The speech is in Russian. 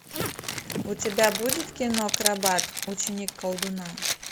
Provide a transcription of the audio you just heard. у тебя будет кино акробат ученик колдуна